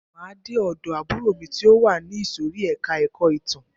Máa de ọ̀dọ̀ àbúrò mi ti o wà ní ìsòrí ẹka ẹ̀kọ́ ìtàn.